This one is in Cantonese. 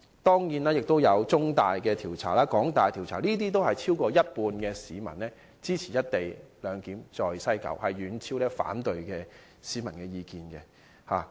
當然，中大和港大的調查均顯示，有超過半數市民支持在西九站實施"一地兩檢"，遠超反對市民的意見。